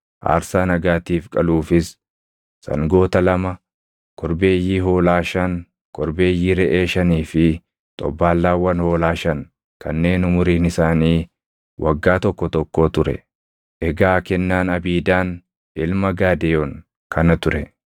aarsaa nagaatiif qaluufis sangoota lama, korbeeyyii hoolaa shan, korbeeyyii reʼee shanii fi xobbaallaawwan hoolaa shan kanneen umuriin isaanii waggaa tokko tokkoo ture. Egaa kennaan Abiidaan ilma Gaadeyoon kana ture.